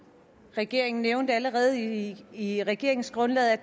regeringen nævnte allerede i i regeringsgrundlaget at